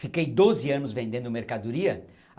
Fiquei doze anos vendendo mercadoria.